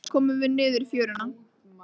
Loks komum við niður í fjöruna.